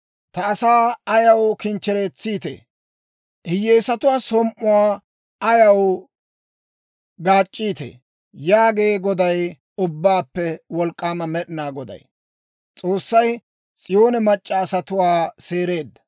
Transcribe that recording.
Ta asaa ayaw kinchcheretsiitee? Hiyyeesatuwaa som"uwaa ayaw gaac'c'iitee?» yaagee Goday, Ubbaappe Wolk'k'aama Med'inaa Goday.